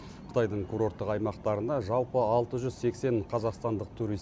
қытайдың курорттық аймақтарына жалпы алты жүз сексен қазақстандық турист